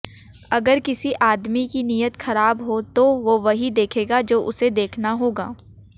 अगर किसी आदमी की नियत खराब हो तो वही देखेगा जो उसे देखना होगा